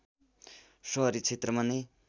सहरी क्षेत्रमा नै